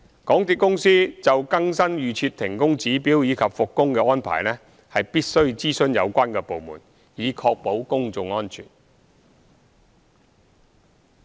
港鐵公司就更新預設停工指標及復工的安排，必須諮詢有關部門，以確保公眾安全。